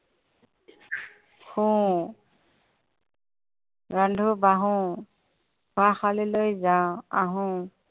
শোওঁ ৰান্ধো, বাঢ়ো। পঢ়াশালিলৈ যাওঁ, আহো।